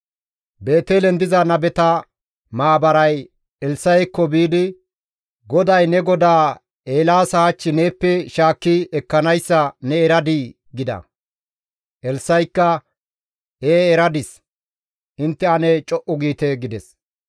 Beetelen diza nabeta maabaray Elssa7ekko biidi, «GODAY ne godaa Eelaasa hach neeppe shaakki ekkanayssa ne eradii?» gida. Elssa7ikka, «Ee eradis; intte ane co7u giite» gides.